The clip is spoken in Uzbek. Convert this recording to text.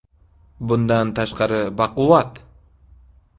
Bundan tashqari baquvvat.